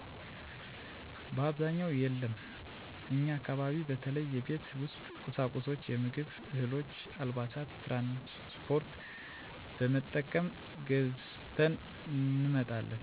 በአብዛኛውን የለም እኛ አካባቢ በተለይ የቤት ውስጥ ቁሳቁሶች፣ የምግብ እህሎች፣ አልባሳት...።ትራንስ ፓርት በመጠቀም ገዝተን እንመጣለን።